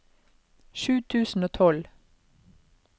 sju tusen og tolv